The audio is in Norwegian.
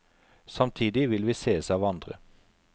Samtidig vil vi sees av andre.